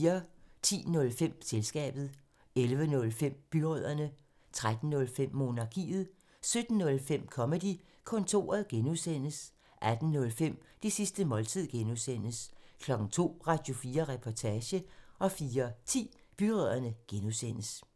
10:05: Selskabet 11:05: Byrødderne 13:05: Monarkiet 17:05: Comedy-kontoret (G) 18:05: Det sidste måltid (G) 02:00: Radio4 Reportage (G) 04:10: Byrødderne (G)